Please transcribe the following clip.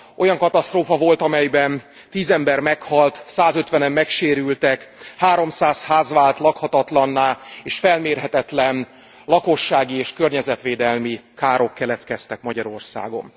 Olyan katasztrófa volt, amelyben tíz ember meghalt százötvenen megsérültek, háromszáz ház vált lakhatatlanná, és felmérhetetlen lakossági és környezetvédelmi károk keletkeztek Magyarországon.